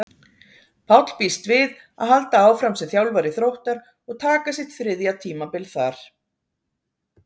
Páll býst við að halda áfram sem þjálfari Þróttar og taka sitt þriðja tímabil þar.